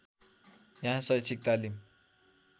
यहाँ शैक्षिक तालिम